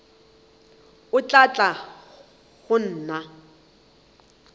o tla tla go nna